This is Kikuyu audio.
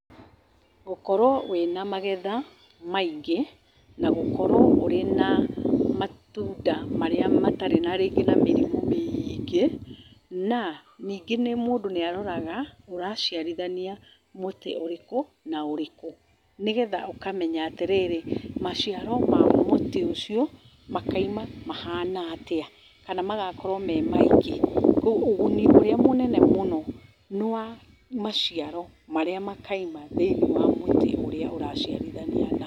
Gũkorwo wĩna magetha maingĩ na gũkorwo wĩ na matunda marĩa matarĩ na rĩngĩ matarĩ na mĩrimũ mĩingĩ. Na ningĩ mũndũ nĩ aroraga ũraciarithania mũtĩ ũrĩkũ na ũrĩkũ, nĩgetha ũkamenya atĩ rĩrĩ, maciaro ma mũtĩ ũcio makaima mahana atĩa, kana magakorwo me maingĩ. Kwoguo ũguni ũrĩa mũnene mũno nĩ wa maciaro marĩa makaima thĩinĩ wa mũtĩ ũrĩa ũraciarithia naguo.